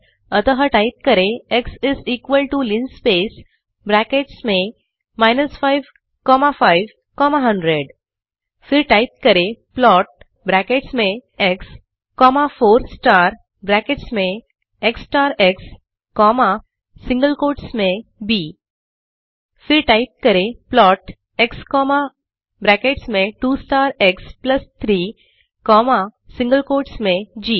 अतः टाइप करें x is equal to linspace brackets में 5 कॉमा 5 कॉमा 100 फिर टाइप करें प्लॉट ब्रैकेट्स में एक्स कॉमा 4 स्टार ब्रैकेट्स में x star x comma b single quotes में फिर टाइप करें प्लॉट एक्स कॉमा ब्रैकेट्स में 2 star x plus three comma single quotes में जी